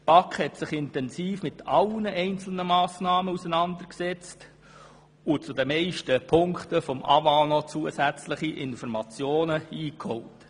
Die BaK hat sich intensiv mit allen einzelnen Massnahmen auseinandergesetzt und zu den meisten Punkten beim Amt für Wasser und Abwasser (AWA) noch zusätzliche Informationen eingeholt.